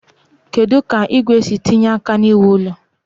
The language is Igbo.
Kedu ka igwe si etinye aka n'iwu ụlọ?